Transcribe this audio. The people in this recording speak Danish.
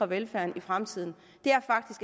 velfærden i fremtiden